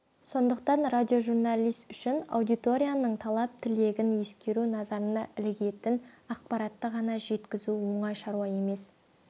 сондықтан радиожурналист үшін аудиторияның талап-тілегін ескеру назарына ілігетін ақпаратты ғана жеткізу оңай шаруа емес